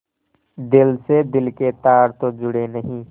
दिल से दिल के तार तो जुड़े नहीं